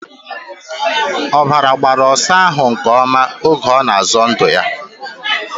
Ọbara gbara ọsa ahụ nke ọma oge ọ na-azọ ndụ ya.